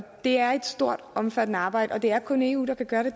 det er et stort og omfattende arbejde og det er kun eu der kan gøre